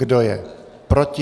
Kdo je proti?